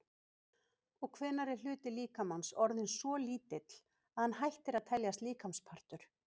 Og hvenær er hluti líkamans orðinn svo lítill að hann hættir að teljast líkamspartur?